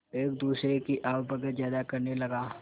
एक दूसरे की आवभगत ज्यादा करने लगा